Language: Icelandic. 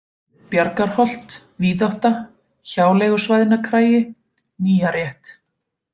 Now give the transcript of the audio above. Bjargarholt, Víðátta, Hjáleigusvæðnakargi, Nýjarétt